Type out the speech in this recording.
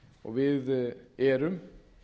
og við erum